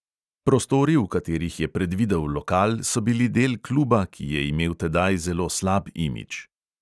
Prostori, v katerih je predvidel lokal, so bili del kluba, ki je imel tedaj zelo slab imidž.